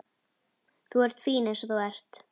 Þú ert fín eins og þú ert.